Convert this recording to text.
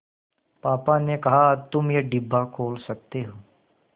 पापा ने कहा तुम ये डिब्बा खोल सकते हो